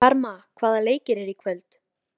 Karma, hvaða leikir eru í kvöld?